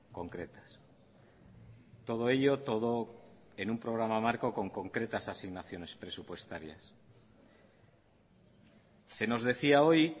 concretas todo ello todo en un programa marco con concretas asignaciones presupuestarias se nos decía hoy